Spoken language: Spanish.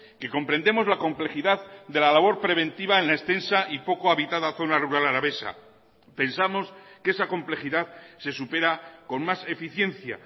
que comprendemos la complejidad de la labor preventiva en la extensa y poco habitada zona rural alavesa pensamos que esa complejidad se supera con más eficiencia